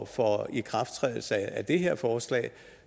for ikrafttrædelse af det her forslag